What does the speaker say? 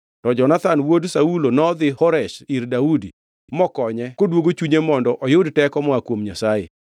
To Jonathan wuod Saulo nodhi Horesh ir Daudi mokonye koduogo chunye mondo oyud teko moa kuom Nyasaye.